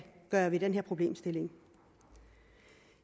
gøre ved den her problemstilling